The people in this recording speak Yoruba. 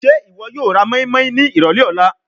Ṣe iwọ yoo ra moinmoin ni irọlẹ ọla?